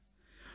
doctor